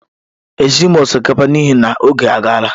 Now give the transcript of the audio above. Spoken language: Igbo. Esighị m osikapa n'ihi na oge agaala